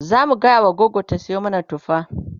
zamu gaya wa gogo ta Sayo mana tufa